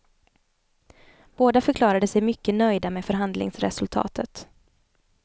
Båda förklarade sig mycket nöjda med förhandlingsresultatet.